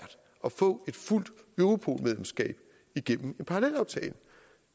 at få et fuldt europol medlemskab igennem en parallelaftale